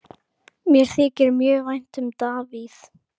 Mér þykir mjög vænt um Davíð.